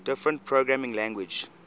different programming languages